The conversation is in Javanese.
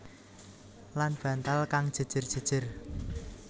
Lan bantal kang jèjèr jèjèr